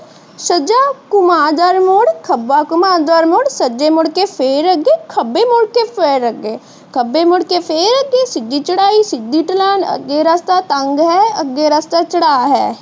ਸਜਾ ਘੁਮਾ ਗਰ ਮੁੜ, ਖੱਬਾ ਘੁਮਾ ਗਰ ਮੁੜ, ਸੱਜੇ ਮੁੜ ਕੇ ਫਿਰ ਅੱਗੇ ਖੱਬੇ ਮੁੜ ਕੇ ਫਿਰ ਅੱਗੇ, ਖੱਬੇ ਮੁੜਕੇ ਫਿਰ ਅੱਗੇ ਸਿੱਦੀ ਚੜਾਈ, ਸਿੱਦੀ ਢਲਾਣ, ਅੱਗੇ ਰਸਤਾ ਤੰਗ ਹੈ, ਅੱਗੇ ਰਸਤਾ ਚੜਾਹ ਹੈ। ਬਿਖਰੀ